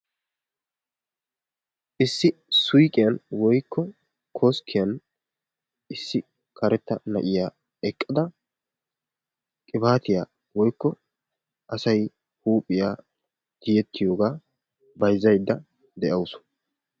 Issi suyqiyan woykko koskkiyan issi karetta na'iya eqqada qibaatiya woykko asay huuphiya tiyettiyogaa bayzzaydda de'awusu.